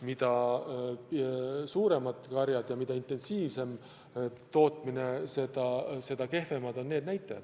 Mida suuremad karjad ja mida intensiivsem tootmine, seda kehvemad on need näitajad.